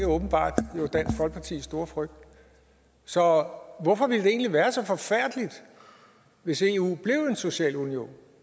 åbenbart dansk folkepartis store frygt så hvorfor ville det egentlig være så forfærdeligt hvis eu blev en social union